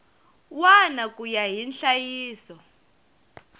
wana ku ya hi nhlayiso